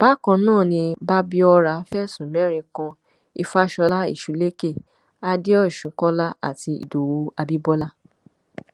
bákan náà ni babíọra fẹsùn mẹrin kan ìfàsọlá ẹsúlẹkẹ àdéosùn kọlá àti ìdòwú abibọlá